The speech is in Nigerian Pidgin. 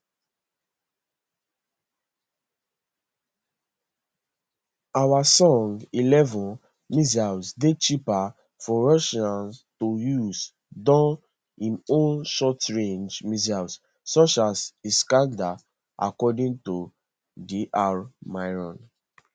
hwasong eleven missiles dey cheaper for russia to use dan im own shortrange missiles such as iskander according to dr miron